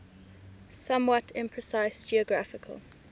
somewhat imprecise geographical